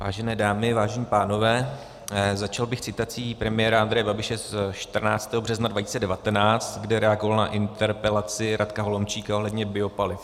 Vážené dámy, vážení pánové, začal bych citací premiéra Andreje Babiše ze 14. března 2019, kde reagoval na interpelaci Radka Holomčíka ohledně biopaliv.